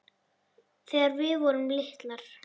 Þegar við vorum litlar.